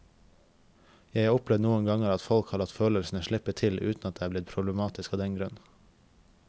Jeg har opplevd noen ganger at folk har latt følelsene slippe til uten at det er blitt problematisk av den grunn.